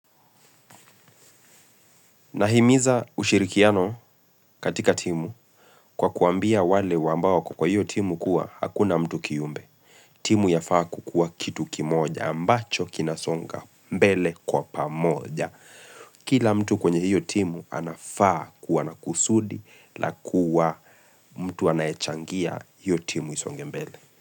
Nahimiza ushirikiano katika timu kwa kuwaambia wale wa ambao wako kwa hiyo timu kuwa hakuna mtu kiumbe. Timu yafaa kukua kitu kimoja ambacho kinasonga mbele kwa pamoja. Kila mtu kwenye hiyo timu anafaa kuwa na kusudi la kuwa mtu anayechangia hiyo timu isonge mbele.